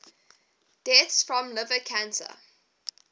deaths from liver cancer